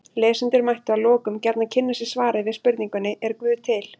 Lesendur mættu að lokum gjarnan kynna sér svarið við spurningunni Er guð til?